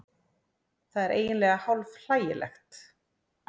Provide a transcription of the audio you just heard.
Það er eiginlega hálf hlægilegt